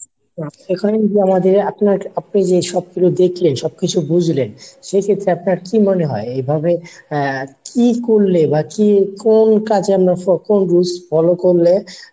এখন আমি মিডিয়ার আরো আগে আপনি আপনি যে সবকিছু দেখলেন সবকিছু বুজলেন সেক্ষেত্রে আপনার কি মনে হয় এভাবে আহ কী করলে বা কি কোন কাজের কোন rules follow করলে